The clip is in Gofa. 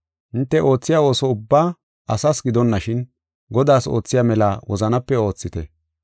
Hinte oothiya ooso ubbaa asas gidonashin, Godaas oothiya mela wozanape oothite.